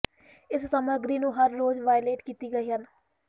ਇਸ ਸਮੱਗਰੀ ਨੂੰ ਹਰ ਰੋਜ਼ ਵਾਲੇਟ ਕੀਤੀ ਗਈ ਹਨ